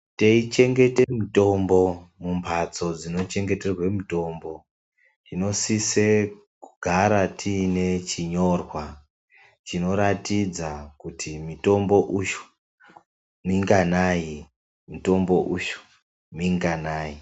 Teyichengete mutombo mumbatso dzinochengeterwe mutombo, tinosise kugara tiine chinyorwa chinoratidza kuti mitombo uyu minganayi, mitombo uyu minganayi.